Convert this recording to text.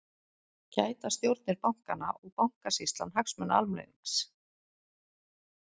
Gæta stjórnir bankanna og Bankasýslan hagsmuna almennings?